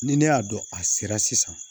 Ni ne y'a dɔn a sera sisan